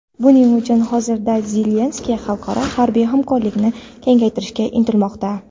Buning uchun hozirda Zelenskiy xalqaro harbiy hamkorlikni kengaytirishga intilmoqda.